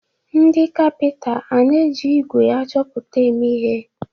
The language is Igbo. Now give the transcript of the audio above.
Ndị kapịnta ana-eji ígwè achọpụta eme ihe?